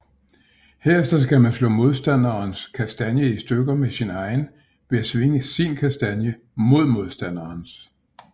Herefter skal man slå modstanderens kastanje i stykker med sin egen ved at svinge sin kastanje mod modstanderens